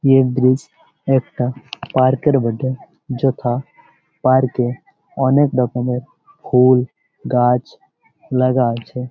এই ব্রিজ একটা পার্ক -এর বটে | যেটা পার্ক -এ অনেক রকমের ফুল গাছ লাগা আছে ।